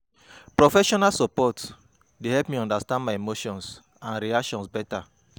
Professional support dey help me understand my emotions and reactions better.